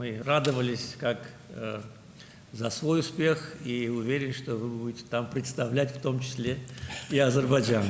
Biz öz uğurumuz kimi sevindik və əminəm ki, siz orada Azərbaycanı da təmsil edəcəksiniz.